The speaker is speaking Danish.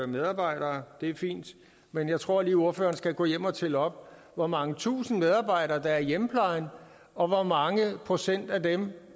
medarbejdere det er fint men jeg tror lige at ordføreren skal gå hjem og tælle op hvor mange tusinde medarbejdere der er i hjemmeplejen og hvor mange procent af dem